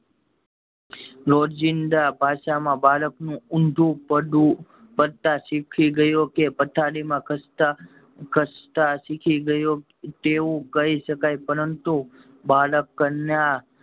રોંજીદા ભાષા માં બાળક નું ઊંધું પડવું પડતા શીખી ગયો કે પથારી માં ખસતા ખસતા શીખી ગયો તેવું કહી શકાય પરંતુ બાળકના